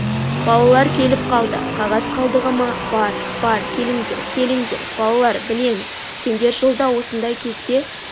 балалар келіп қалды қағаз қалдығы ма бар бар келіңдер келіңдер балалар білеміз сендер жылда осындай кезде